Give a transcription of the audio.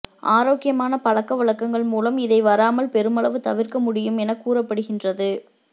ஆரோக்கியமான பழக்க வழக்கங்கள் மூலம் இதை வராமல் பெருமளவு தவிர்க்க முடியும் என கூறப்படுகின்றது